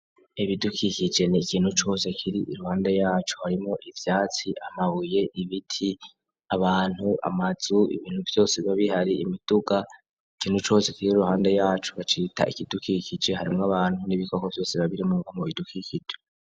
Ibidukikije ni ikintu cose kiri iruhande yacu harimwo ivyatsi, amabuye, ibiti, abantu, amazu ibintu vyose baba bihari imiduga ikintu cose kiri iruhande yacu bacita ikidukikije harimwo abantu n'ibikoko vyose biba birimwo mu bidukikije.